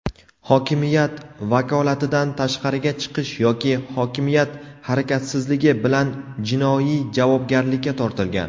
hokimiyat vakolatidan tashqariga chiqish yoki hokimiyat harakatsizligi) bilan jinoiy javobgarlikka tortilgan.